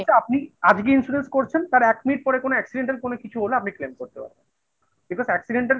আজকে insurance করছেন তাঁর এক মিনিট পরে কোন accidental কোনো কিছু হলে আপনি claim করতে পারবেন। because accidental